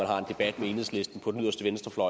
har en debat med enhedslisten på den yderste venstrefløj